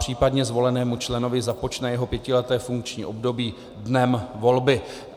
Případně zvolenému členovi započne jeho pětileté funkční období dnem volby.